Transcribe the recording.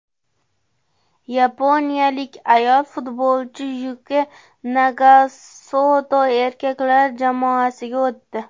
Yaponiyalik ayol futbolchi Yuki Nagasoto erkaklar jamoasiga o‘tdi.